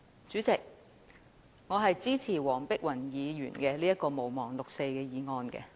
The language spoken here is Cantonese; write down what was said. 主席，我支持黃碧雲議員這項"毋忘六四"議案。